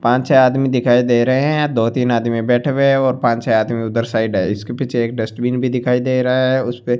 पांच छै आदमी दिखाई दे रहे हैं दो तीन बैठे हुए हैं और पांच छै आदमी उधर साइड है इसके पीछे एक डस्टबिन भी दिखाई दे रहा है उसे पे --